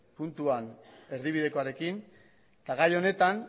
puntuan erdibidekoarekin eta gai honetan